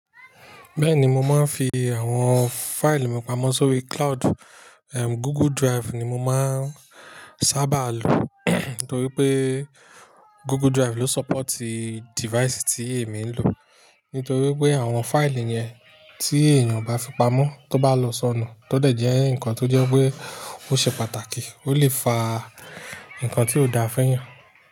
Bẹ́ẹ̀ni, mo máa ń fi àwọn fáìlì mi pamọ́ sórí cloud. Google Drive ni mo máa ń sábà lò torí pé Google Drive ló ṣọ́pọ̀tì dífaísì tí èmi ń lò. Nítorí pé àwọn fáìlì yẹn tí èèyàn o bá fi pamọ́, tó bá lọ sọnù, tó dẹ̀ jẹ́ ǹkan tó jẹ́ pé ó ṣe pàtàkì, ó lè fa ǹkan tí ó dáa fún ẹeyan.